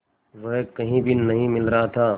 वह कहीं भी नहीं मिल रहा था